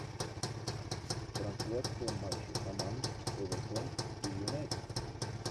трансляция матча команд эвертон и юнайтед